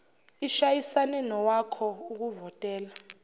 ishayisane nowakho ukuvotela